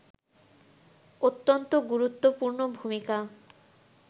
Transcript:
অত্যন্ত গুরুত্বপূর্ণ ভূমিকা